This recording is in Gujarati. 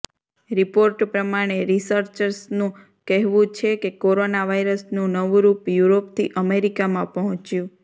રિપોર્ટ પ્રમાણે રિસર્ચર્સનું કહેવું છે કે કોરોના વાયરસનું નવું રૂપ યૂરોપથી અમેરિકામાં પહોંચ્યું